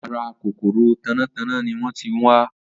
Ara kòkòrò tanátaná ni wọ́n ti ń wá.